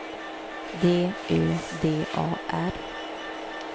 D Ö D A R